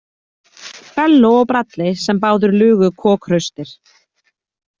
Bello og Bradley sem báðir lugu kokhraustir.